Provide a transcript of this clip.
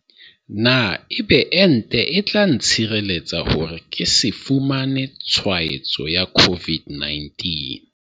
Na ebe ente e tla ntshireletsa hore ke se fumane tshwaetso ya COVID-19?